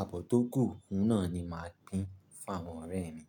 àbọ̀ tó gù nù náà ni màá gbin fún àwọn ọ̀rẹ́ mi.